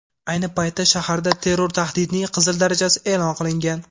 Ayni paytda shaharda terror tahdidining qizil darajasi e’lon qilingan.